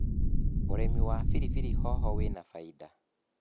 ũrĩmi wa pilipili hoho wĩna bainda.